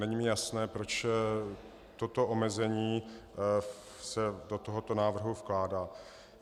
Není mi jasné, proč toto omezení se do tohoto návrhu vkládá.